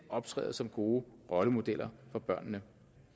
optræder som gode rollemodeller for børnene